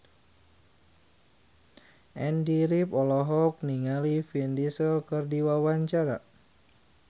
Andy rif olohok ningali Vin Diesel keur diwawancara